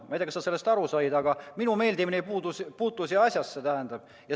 Ma ei tea, kas sa sellest aru said, aga minu meeldimine ei puutu siin asjasse.